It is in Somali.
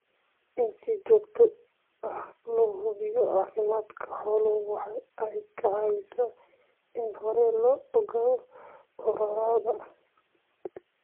In si joogto ah loo hubiyo caafimaadka xoolaha waxa ay caawisaa in hore loo ogaado cudurrada.